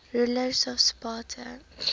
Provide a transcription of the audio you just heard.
rulers of sparta